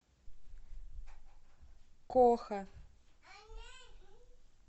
коха